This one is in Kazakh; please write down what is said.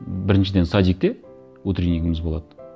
м біріншіден садикте утреннигіміз болады